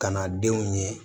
Ka na denw ye